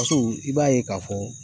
i b'a ye k'a fɔ